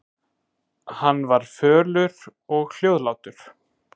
Hann var fölur og hljóðlátur.